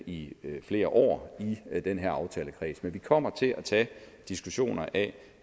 i flere år i den her aftalekreds men vi kommer til at tage diskussioner af